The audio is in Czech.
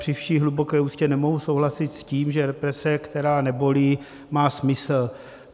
Při vší hluboké úctě nemohu souhlasit s tím, že represe, která nebolí, má smysl.